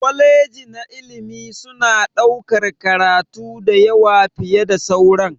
kwaleji na ilimi suna ɗaukar karatu da yawa fiye da sauran.